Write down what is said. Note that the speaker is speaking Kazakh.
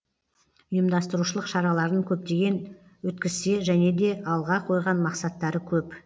ұйымдастырушылық шараларын көптеген өткізсе және де алға қойған мақсаттары көп